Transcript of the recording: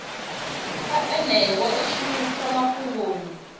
a eneo o shumiswa mafhungoni